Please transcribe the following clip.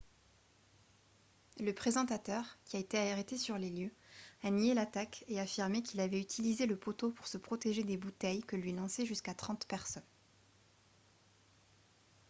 le présentateur qui a été arrêté sur les lieux a nié l'attaque et affirmé qu'il avait utilisé le poteau pour se protéger des bouteilles que lui lançaient jusqu'à trente personnes